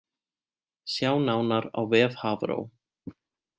Sjá nánar á vef Hafró